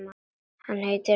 Hann heitir Vaskur.